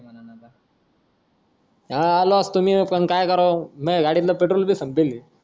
हा आलो असतो मी पण माय गाडीतलं petrol भी संपेल